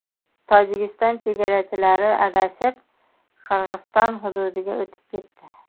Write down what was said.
Tojikiston chegarachilari adashib, Qirg‘iziston hududiga o‘tib ketdi.